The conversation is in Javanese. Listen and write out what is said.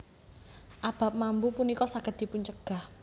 Abab mambu punika saged dipuncegah